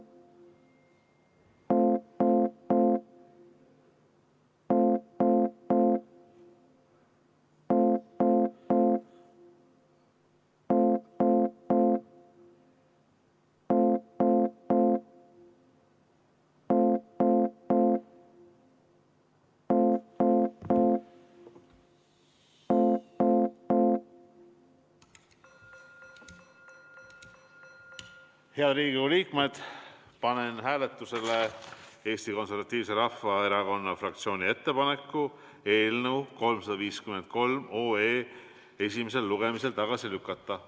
Head Riigikogu liikmed, panen hääletusele Eesti Konservatiivse Rahvaerakonna fraktsiooni ettepaneku eelnõu 353 esimesel lugemisel tagasi lükata.